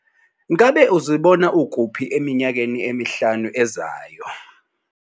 Ngabe uzibona ukuphi eminyakeni emihlanu ezayo?